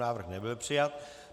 Návrh nebyl přijat.